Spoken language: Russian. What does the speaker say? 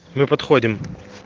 мы подходим